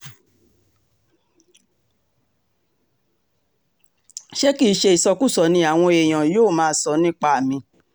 ṣé kì í ṣe ìsọkúsọ ni àwọn èèyàn yóò máa sọ nípa mi